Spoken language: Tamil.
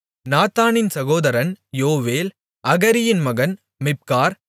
நாத்தானின் சகோதரன் யோவேல் அகரியின் மகன் மிப்கார்